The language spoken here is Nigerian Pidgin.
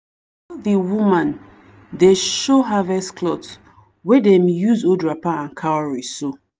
all the woman dey show harvest cloth wey dem use old wrapper and cowrie sew.